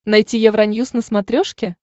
найти евроньюс на смотрешке